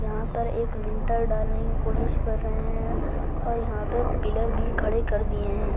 यहां पर एक लिंटर डालने की कोशिश कर रहे है और यहां पर पिलर भी खड़े कर दिए है।